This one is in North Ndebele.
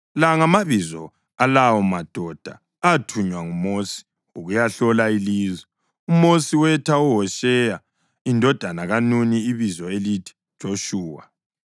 La ngamabizo alawomadoda athunywa nguMosi ukuyahlola ilizwe. (UMosi wetha uHosheya indodana kaNuni ibizo elithi Joshuwa.)